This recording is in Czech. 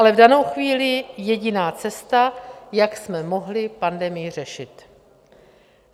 Ale v danou chvíli jediná cesta, jak jsme mohli pandemii řešit.